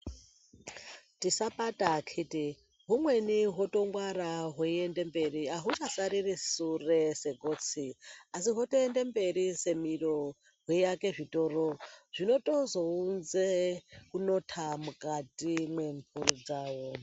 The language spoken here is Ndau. Tisapata akiti humweni hwotongwara hweiende mberi ahungasariri sure segotsi asi hwotoende mberi semiro hweiake zvitoro zvinotozounze kunota mukati mwempuri dzawo.